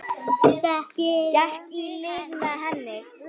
Gekk í lið með henni.